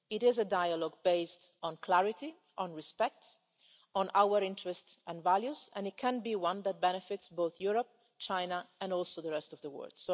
order. It is a dialogue based on clarity, on respect, and on our interests and values, and it can be one that benefits both Europe and China, as well as the rest of the